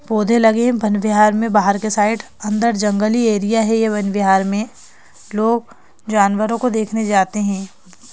पौधे लगे हैं वन विहार में बाहर के साइड अंदर जंगली एरिया है ये वन विहार में लोग जानवरों को देखने जाते है।